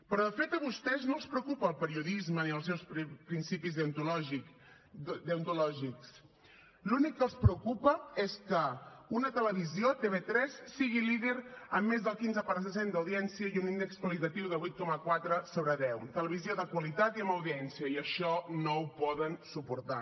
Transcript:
però de fet a vostès no els preocupa el periodisme ni els seus principis deontològics l’únic que els preocupa és que una televisió tv3 sigui líder amb més del quinze per cent d’audiència i un índex qualitatiu de vuit coma quatre sobre deu televisió de qualitat i amb audiència i això no ho poden suportar